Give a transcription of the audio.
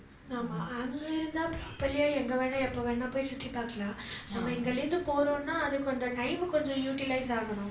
ஆமா, அங்க இருந்தா properly யா எங்க வேணா எப்ப வேணா போய் சுத்தி பாக்கலாம். நம்ம இங்கிருந்து போறோம்னா அதுக்கு அந்த time கொஞ்சம் utilize ஆகணும்